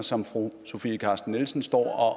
som fru sofie carsten nielsen står